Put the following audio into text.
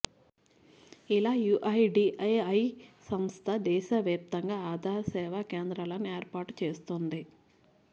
ఇలా యూఐడీఏఐ సంస్థ దేశవ్యాప్తంగా ఆధార్ సేవా కేంద్రాలను ఏర్పాటు చేస్తోంది